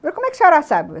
Como é que a senhora sabe?